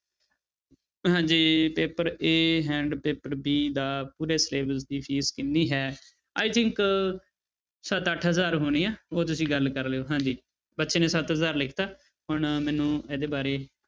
ਹਾਂਜੀ paper a and paper b ਦਾ ਪੂਰੇ syllabus ਦੀ ਫੀਸ ਕਿੰਨੀ ਹੈ i think ਸੱਤ ਅੱਠ ਹਜ਼ਾਰ ਹੋਣੀ ਹੈ ਉਹ ਤੁਸੀਂ ਗੱਲ ਕਰ ਲਇਓ ਹਾਂਜੀ ਬੱਚੇ ਨੇ ਸੱਤ ਹਜ਼ਾਰ ਲਿਖ ਦਿੱਤਾ ਹੁਣ ਮੈਨੂੰ ਇਹਦੇ ਬਾਰੇ